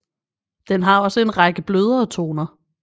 Den har også en række blødere toner